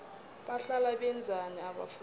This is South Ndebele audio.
bahlala benzani abafundi